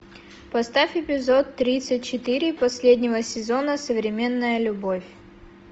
поставь эпизод тридцать четыре последнего сезона современная любовь